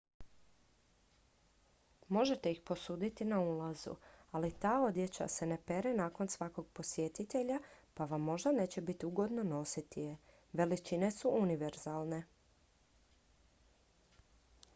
možete ih posuditi na ulazu ali ta odjeća se ne pere nakon svakog posjetitelja pa vam možda neće biti ugodno nositi je veličine su univerzalne